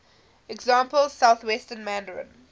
example southwestern mandarin